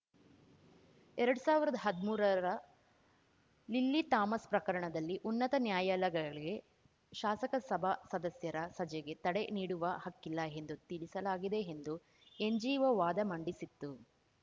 ಎರಡ್ ಸಾವಿರದಾ ಹದ್ಮೂರರ ಲಿಲ್ಲಿ ಥಾಮಸ್‌ ಪ್ರಕರಣದಲ್ಲಿ ಉನ್ನತ ನ್ಯಾಯಾಲಗಳಿಗೆ ಶಾಸಕಸಭಾ ಸದಸ್ಯರ ಸಜೆಗೆ ತಡೆ ನೀಡುವ ಹಕ್ಕಿಲ್ಲ ಎಂದು ತಿಳಿಸಲಾಗಿದೆ ಎಂದು ಎನ್‌ಜಿಒ ವಾದ ಮಂಡಿಸಿತ್ತು